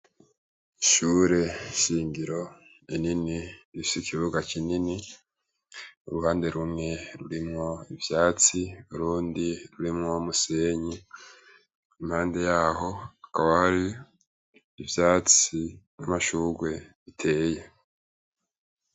Ishure shingiro rinini, rifise ikibuga kinini, uruhande rumwe rurimwo ivyatsi urundi rurimwo umusenyi. Impande yaho hakaba hari ivyatsi n'amashugwe biteye.